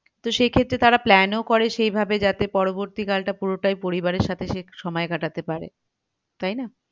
তো সেক্ষেত্রে তারা plan ও করে সেইভাবে যাতে পরবর্তীকালটা পুরোটাই পরিবারের সাথে সে সময় কাটাতে পারে তাই না